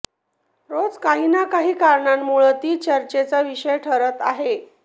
रोज काही ना काही कारणांमुळं ती चर्चेचा विषय ठरत आहे